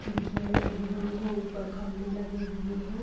खिडक़ियां लगी हुई हैं। ऊपर खंबे लगे हुए हैं।